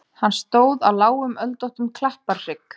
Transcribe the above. Hann stóð á lágum öldóttum klapparhrygg.